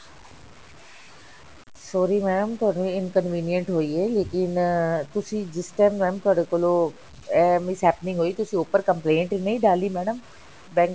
sorry mam ਥੋਨੂੰ ਇਹ inconvenient ਹੋਈ ਹੈ ਲੇਕਿਨ ਤੁਸੀਂ ਜਿਸ ਤਰ੍ਹਾਂ mam ਤੁਹਾਡੇ ਕੋਲੋਂ ਅਹ miss happening ਹੋਈ ਤੁਸੀਂ ਉੱਪਰ complaint ਨਹੀਂ ਡਾਲੀ madam bank